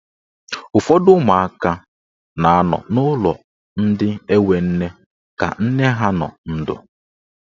Ụfọdụ ụmụaka na anọ n'ulọ ndị enwe nne ka nne ha nọ ndụ.